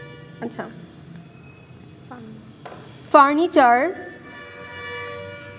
furniture